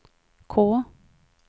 K